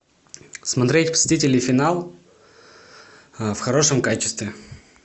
смотреть мстители финал в хорошем качестве